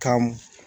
Ka m